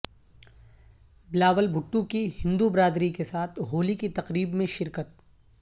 بلاول بھٹو کی ہندو برادری کے ساتھ ہولی کی تقریب میں شرکت